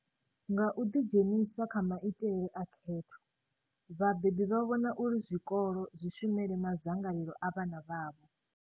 Nga u ḓidzhenisa kha maitele a khetho, vhabebi vha vhona uri zwikolo zwi shumele madzangalelo a vhana vhavho.